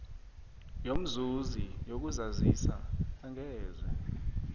yomzuzi yokuzazisa angeze